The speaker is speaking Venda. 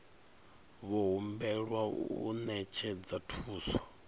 vho humbelwa u ṅetshedza thuso